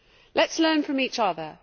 Let us learn from each other.